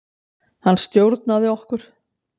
Hann stjórnaði okkur.